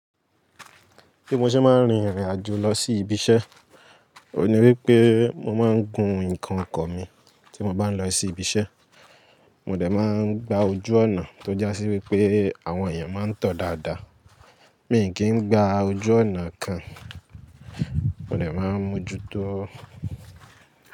Bí mo ṣe máa ń rin ìrìn àjò lọ sí ibiṣẹ́, òun ní wípé mo máa ń gun ǹnkan ọkọ̀ mi tí mo bá ń lọ sí ibiṣẹ́, mo dè máa ń gba ojú ọ̀nà tó jásí wípé àwọn èèyàn máa ń tọ dáadáa, mi kì í ngba ojú ọ̀nà kan, mo dè máa ń mójú tó.